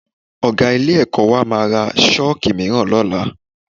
Ọ̀ga ilé-ẹ̀kọ́ wa máa ra Ṣọ́ọ̀kì mìíràn lọ́la